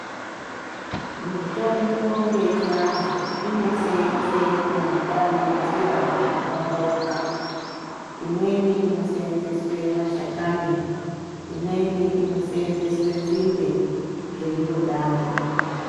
Mitombo yechiantu inoseenze nenzira dzakapambauka. Imweni inoseenzeswe mashakani, imweni inoseenzeswe nzinde zveindodaro.